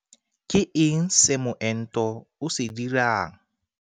Ke eng se moento o se dirang?